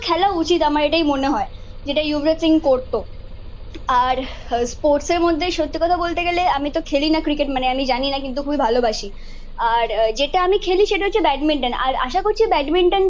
খেলা উচিত আমার এটাই মনে হয় যেটা যুবরাজ সিং করতো। আর স্পোর্টসের মধ্যে সত্যি কথা বলতে গেলে আমি তো খেলি না ক্রিকেট মানে আমি জানিনা কিন্তু খুবই ভালোবাসি। আর যেটা আমি খেলি সেটা হচ্ছে ব্যাডমিন্টন। আর আশা করছি ব্যাডমিন্টন